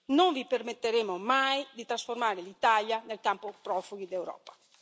Non vi permetteremo mai di trasformare l'Italia nel campo profughi d'Europa!